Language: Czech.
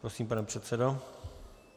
Prosím, pane předsedo.